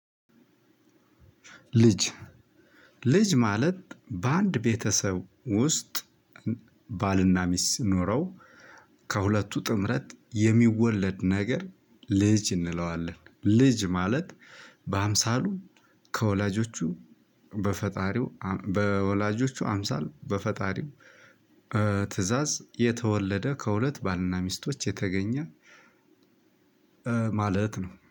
ልጅ ልጅ ማለት በአንድ ቤተሰብ ውስጥ ባልና ሚስት ኖረው ከሁለቱ ጥምረት የሚወለድ ነገር ልጅ እንለዋለን። ልጅ ማለት በአምሳሉ ከወላጆቹ በፈጣሪው በወላጆቹ አምሳል በፈጣሪው ትእዛዝ የተወለደ ከሁለት ባልና ሚስቶች የተገኘ። ማለት ነው